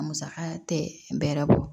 A musaka tɛ bɛrɛ bɔ